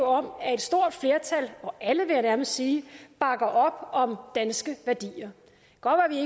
om at et stort flertal alle vil jeg nærmest sige bakker op om danske værdier